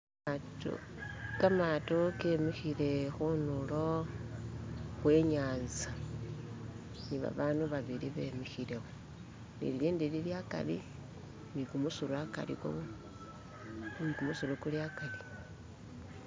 kamato kemihile hunulo hwenyanza nibabandu babili bemihile wo nililindi lili akari nikumusuru akari